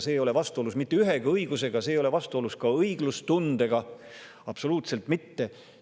See ei ole vastuolus mitte ühegi õigusega, see ei ole vastuolus ka õiglustundega, absoluutselt mitte.